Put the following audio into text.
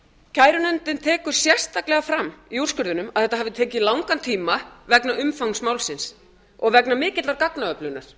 kærunefndin tekur sérstaklega fram í úrskurðinum að þetta hafi tekið langan tíma vegna umfangs málsins og vegna mikillar gagnaöflunar